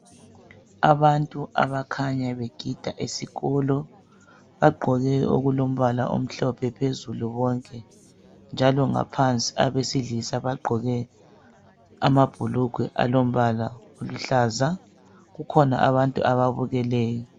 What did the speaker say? Abantu abakhanya begida esikolo, bagqoke okulombala omhlophe phezulu bonke njalo ngaphansi abesilisa bagqoke amabhulugwe alombala oluhlaza .Kukhona abantu ababukeleyo.